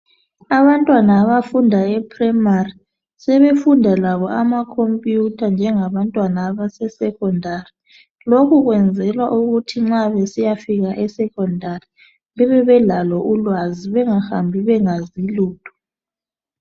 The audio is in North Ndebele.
abantwana abafunda e primary sebefunda labo ama computer njengabantwana abase secondary lokhu kwenzelwa ukuthi besiya fika e secondary bebelalo ulwazi begahambi bengazilutho